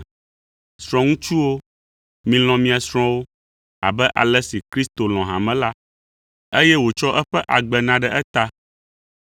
Srɔ̃ŋutsuwo, milɔ̃ mia srɔ̃wo abe ale si Kristo lɔ̃ hame la, eye wòtsɔ eƒe agbe na ɖe eta,